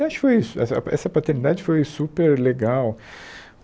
Acho que foi isso essa essa paternidade foi super legal.